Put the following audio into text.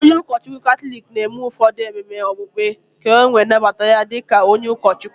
Onye ụkọchukwu Katọlik na-eme ụfọdụ ememe okpukpe ka e wee nnabata ya di ka onye ụkọchukwu.